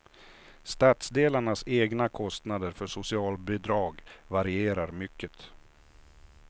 Stadsdelarnas egna kostnader för socialbidrag varierar mycket.